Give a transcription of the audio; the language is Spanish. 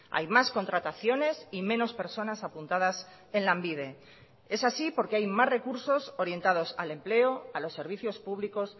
hay más contrataciones y menos personas apuntadas en lanbide es así porque hay más recursos orientados al empleo a los servicios públicos